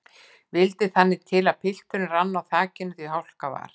Vildi það til þannig að pilturinn rann á þakinu því hálka var.